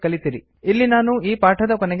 ಇಲ್ಲಿ ನಾನು ಈ ಪಾಠದ ಕೊನೆಗೆ ತಲುಪಿದೆ